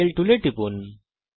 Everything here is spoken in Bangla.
এঙ্গেল টুলের উপর টিপুন